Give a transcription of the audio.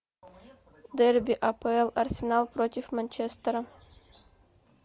дерби апл арсенал против манчестера